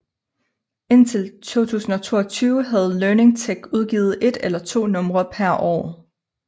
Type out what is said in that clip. Indtil 2022 havde Learning Tech udgivet et eller to numre per år